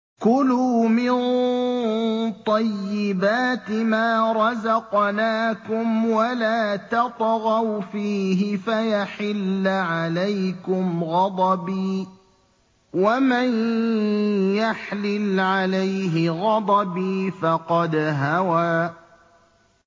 كُلُوا مِن طَيِّبَاتِ مَا رَزَقْنَاكُمْ وَلَا تَطْغَوْا فِيهِ فَيَحِلَّ عَلَيْكُمْ غَضَبِي ۖ وَمَن يَحْلِلْ عَلَيْهِ غَضَبِي فَقَدْ هَوَىٰ